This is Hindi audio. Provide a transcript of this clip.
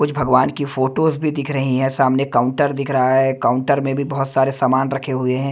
कुछ भगवान की फोटोज भी दिखा रही हैं सामने काउंटर दिख रहा है काउंटर में भी बहोत सारे सामान रखे हुए हैं।